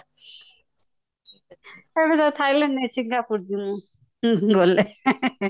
ଏବେ ତ thailand ନୁହେଁ singapore ଯିବି ମୁଁ ଉହୁଁ ଗଲେ